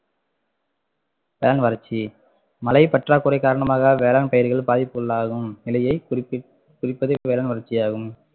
வேளாண் வறட்சி மழை பற்றாக்குறை காரணமாக வேளாண் பயிர்கள் பாதிப்புக்குள்ளாகும் நிலையை குறிப்ப~ குறிப்பதே வேளாண் வறட்சி ஆகும்